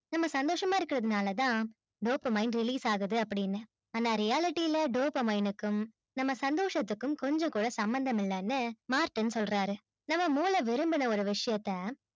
நம்ம சந்தோஷமா இருக்கிறதுனாலதான் dopamine release ஆகுது அப்படின்னு ஆனா reality ல dopamine க்கும் நம்ம சந்தோஷத்துக்கும் கொஞ்சம் கூட சம்மந்தம் இல்லைன்னு மார்ட்டின் சொல்றாரு நம்ம மூளை விரும்பின ஒரு விஷயத்த